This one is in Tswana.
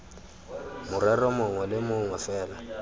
morero mongwe le mongwe fela